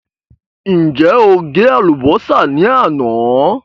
Ǹjẹ́ o gé àlùbọ́sà ní àná?